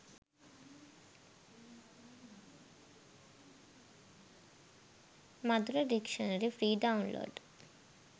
madura dictionary free download